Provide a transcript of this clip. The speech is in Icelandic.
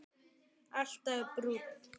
Alltaf brúnn.